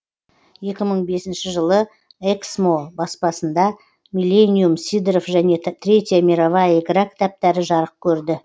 екі мың бесінші жылы эксмо баспасында миллениум сидоров және третья мировая игра кітаптары жарық көрді